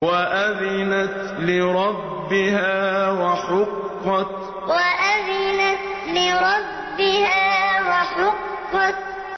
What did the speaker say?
وَأَذِنَتْ لِرَبِّهَا وَحُقَّتْ وَأَذِنَتْ لِرَبِّهَا وَحُقَّتْ